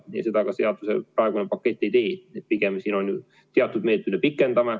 Ja seda praegune pakett ka ei tee, pigem me lihtsalt teatud meetmeid pikendame.